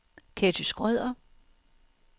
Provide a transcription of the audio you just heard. Ketty Schrøder